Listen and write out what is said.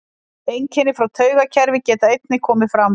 Einkenni frá taugakerfi geta einnig komið fram.